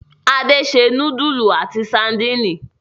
Ade se núdúlù àti sadínì.